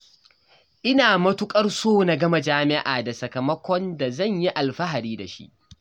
Ina matuƙar so na gama jami'a da sakamakon da zan yi alfahari da shi.